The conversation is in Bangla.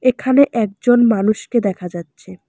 এখানে একজন মানুষকে দেখা যাচ্ছে।